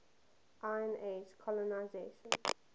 iron age colonisation